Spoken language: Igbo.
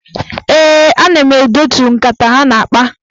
Ee, ana m edetu nkata ha na-akpa.